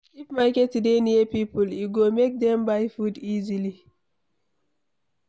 If market dey near people, e go make dem buy food easily